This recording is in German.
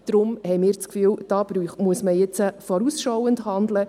Deshalb haben wir das Gefühl, hier müsse man vorausschauend handeln.